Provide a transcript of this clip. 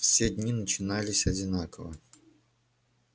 все дни начинались одинаково